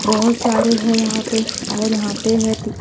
बहुत सारे हैं यहां पे और यहां पे है--